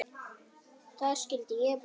Þar skyldi ég búa.